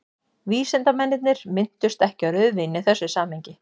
vísindamennirnir minntust ekki á rauðvín í þessu samhengi